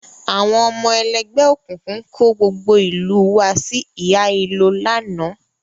Àwọn ọmọ ẹlẹ́gbẹ́ òkùnkùn kó gbogbo ìlú u wa sí hílàhílo lánàá